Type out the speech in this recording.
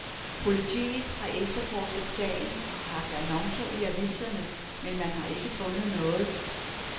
Politiet har efterforsket sagen og haft annoncer i aviserne, men man har ikke fundet noget.